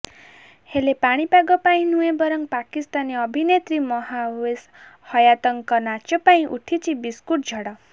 ହେଲେ ପାଣିପାଗ ପାଇଁ ନୁହେଁ ବରଂ ପାକିସ୍ତାନୀ ଅଭିନେତ୍ରୀ ମହାୱିସ୍ ହୟାତଙ୍କ ନାଚ ପାଇଁ ଉଠିଛି ବିସ୍କୁଟ୍ ଝଡ